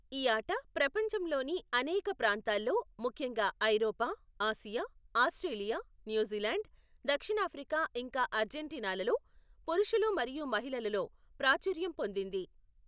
ఈ ఆట ప్రపంచంలోని అనేక ప్రాంతాల్లో, ముఖ్యంగా ఐరోపా, ఆసియా, ఆస్ట్రేలియా, న్యూజిలాండ్, దక్షిణాఫ్రికా ఇంకా అర్జెంటీనాలలో, పురుషులు మరియు మహిళలలో ప్రాచుర్యం పొందింది.